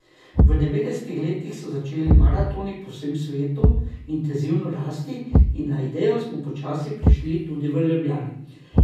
V devetdesetih letih so začeli maratoni po vsem svetu intenzivno rasti in na idejo smo počasi prišli tudi v Ljubljani.